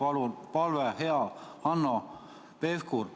Mul on teile veel kord palve, hea Hanno Pevkur!